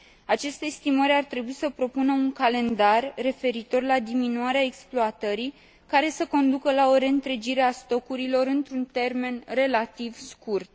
Aceste estimări ar trebui să propună un calendar referitor la diminuarea exploatării care să conducă la o reîntregire a stocurilor într un termen relativ scurt.